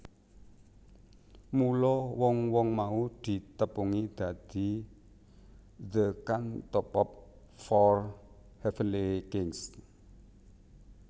Mula wong wong mau ditepungi dadi The Cantopop Four Heavenly Kings